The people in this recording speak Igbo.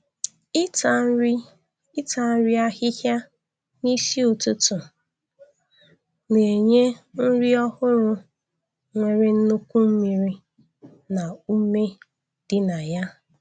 Ịta nri Ịta nri ahịhịa n'isi ụtụtụ na-enye nri ọhụrụ nwere nnukwu mmiri na ume dị na ya